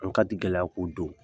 An katigɛlɛya ko don